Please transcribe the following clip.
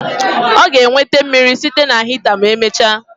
Ọ ga-enweta mmiri site na hita ma emechaa